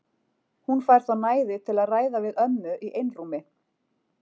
Hún fær þá næði til að ræða við ömmu í einrúmi.